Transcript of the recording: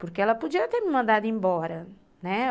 Porque ela podia ter me mandado embora, né?